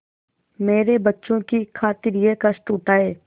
मेरे बच्चों की खातिर यह कष्ट उठायें